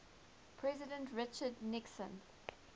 president richard nixon